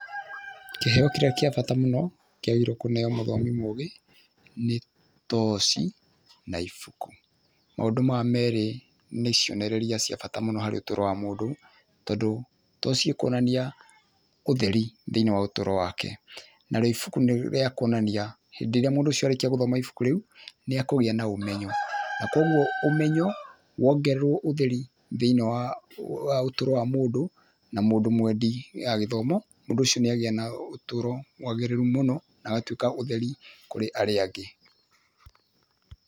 Kĩheyo kĩrĩa kĩa bata mũno kĩagĩrĩirwo kũheyo mũthomi mũgĩ nĩ toci na ibuku. Maũndũ maya merĩ nĩ cionereria cia bata mũno harĩ ũtũro wa mũndũ, tondũ toci ĩkũonania ũtheri thĩiniĩ wa ũtũro wake, narĩo ibuku nĩ rĩa kuonania hĩndĩ ĩrĩa mũndũ ũcio arĩkia gũthoma ibuku rĩu, nĩ akũgĩa na ũmenyo, na koguo ũmenyo wongererwo ũtheri thĩiniĩ wa ũtũro wa mũndũ, na mũndũ mwendi gĩthomo, mũndũ ũcio nĩagĩa na ũtũro mwagĩrĩru mũno na agatuĩka ũtheri kũrĩ arĩa angĩ.